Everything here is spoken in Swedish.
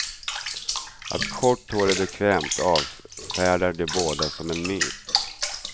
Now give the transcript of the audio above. Att kort hår är bekvämt avfärdar de båda som en myt.